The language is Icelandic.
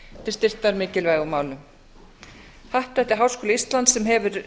til styrktar mikilvægum málum happdrætti háskóla íslands sem hefur